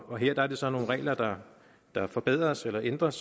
og her er det så nogle regler der der forbedres eller ændres